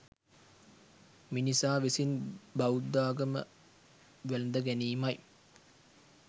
මිනිසා විසින් බෞද්ධාගම වැලඳ ගැනීමයි.